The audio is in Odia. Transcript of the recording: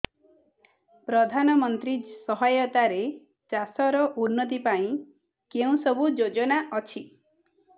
ପ୍ରଧାନମନ୍ତ୍ରୀ ସହାୟତା ରେ ଚାଷ ର ଉନ୍ନତି ପାଇଁ କେଉଁ ସବୁ ଯୋଜନା ଅଛି